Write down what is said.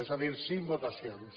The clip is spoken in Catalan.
és a dir cinc votacions